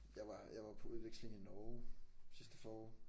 Jeg var jeg var på udveksling i Norge sidste forår